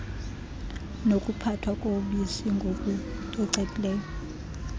nokuphathwa kobisi ngokucocekileyo